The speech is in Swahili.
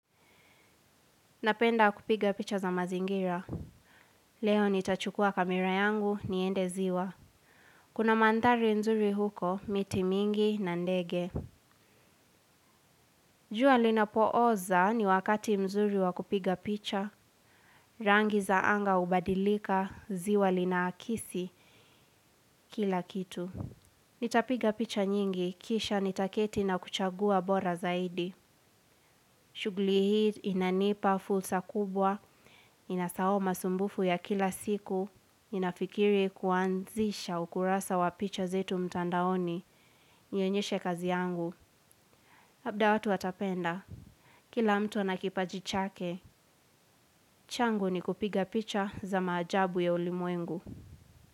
Napenda kupiga picha za mazingira. Leo nitachukua kamera yangu, niende ziwa. Kuna mandhari nzuri huko, miti mingi na ndege. Jua linapooza, ni wakati mzuri wa kupiga picha. Rangi za anga ubadilika, ziwa linaakisi kila kitu. Nitapiga picha nyingi, kisha nitaketi na kuchagua bora zaidi. Shuguli hii inanipa fulsa kubwa, inasahau masumbufu ya kila siku. Ninafikiri kuanzisha ukurasa wa wapicha zetu mtandaoni. Nionyeshe kazi yangu, labda watu watapenda. Kila mtu ana kipajichake. Changu ni kupiga picha za maajabu ya ulimwengu.